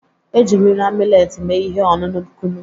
Ejirila mileti mee ihe ọṅụṅụ kunụ.